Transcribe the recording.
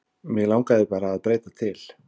Mig langaði bara að breyta til.